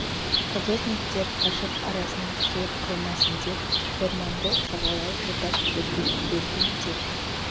каторжниктер қашып арасына тығылып қалмасын деп орманды жағалай отап өртеп жіберген деп